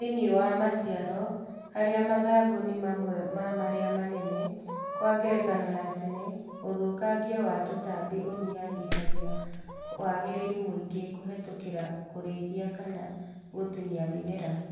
Thĩinĩ wa maciaro harĩa mathangũ nĩ mamwe ma maria manene, Kwa ngerekano ya tene, ũthũkangia wa tũtambi ũnyihanyihagia wagĩrĩru mũingĩ kũhetũkĩra kũrĩithia kana gũtinia mĩmera